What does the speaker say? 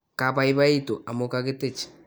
kabaibaitu amu kakitich